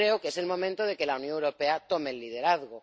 Creo que es el momento de que la Unión Europea tome el liderazgo.